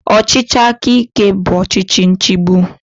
Ọchịchị aka ike bụ ọchịchị nchigbu